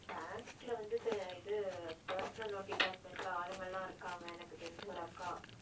bank ல வந்து இது personal loan department ல ஆளுங்க எல்லாம் இருக்காங்க எனக்குத் தெரிஞ்ச ஒரு அக்கா